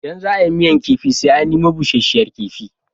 Idan za a yi miyar kifi sai an nemo busasshen kifi.